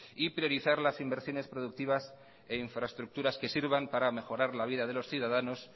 y priorizar las inversiones productivas e infraestructuras que sirvan para mejorar la vida de los ciudadanos